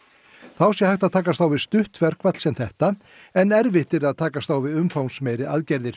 þá sé hægt að takast á við stutt verkfall sem þetta en erfitt yrði að takast á við umfangsmeiri aðgerðir